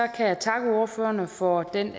kan jeg takke ordførerne for den